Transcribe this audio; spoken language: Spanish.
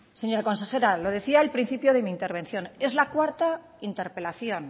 señora consejera lo decía al principio de mi intervención es la cuarta interpelación